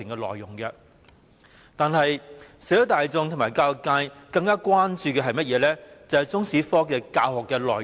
可是，社會大眾和教育界更關注的，是中史科的教學內容。